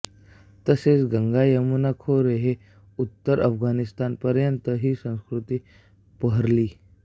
तसेच गंगा यमुना खोरे ते उत्तर अफगणिस्तानपर्यंत ही संस्कृती बहरली